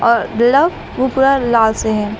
Love उ पूरा लाल से है।